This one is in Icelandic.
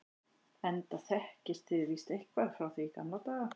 enda þekkist þið víst eitthvað frá því í gamla daga.